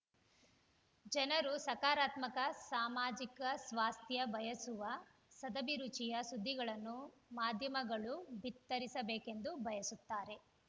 ಜನರು ಸಕಾರಾತ್ಮಕ ಸಾಮಾಜಿಕ ಸ್ವಾಸ್ಥ್ಯ ಬಯಸುವ ಸದಭಿರುಚಿಯ ಸುದ್ದಿಗಳನ್ನು ಮಾಧ್ಯಮಗಳು ಬಿತ್ತರಿಸಬೇಕೆಂದು ಬಯಸುತ್ತಾರೆ